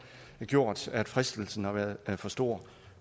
gjort at fristelsen har været for stor